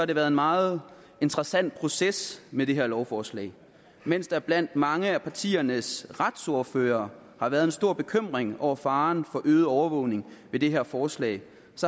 det været en meget interessant proces med det her lovforslag mens der blandt mange af partiernes retsordførere har været en stor bekymring over faren for øget overvågning ved det her forslag